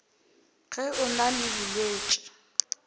ge o na le bolwetši